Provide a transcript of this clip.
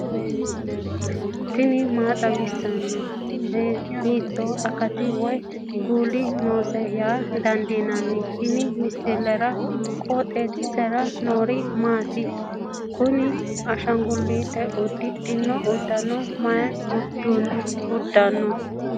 tini maa xawissanno ? hiitto akati woy kuuli noose yaa dandiinanni tenne misilera? qooxeessisera noori maati? kuni ashangullle uddidhino uddano mayi uddiranno